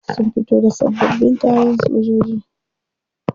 Sun fito da sabbabin kayan sojoji.